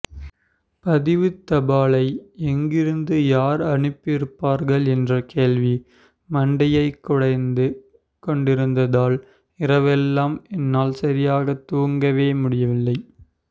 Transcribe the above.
பதிவுத் தபாலை எங்கிருந்து யார் அனுப்பியிருப்பார்கள் என்ற கேள்வி மண்டையைப் குடைந்து கொண்டிருந்ததால் இரவெல்லாம் என்னால் சரியாக தூங்கவே முடியவில்லை